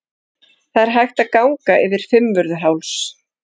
Það er hægt að ganga yfir Fimmvörðuháls.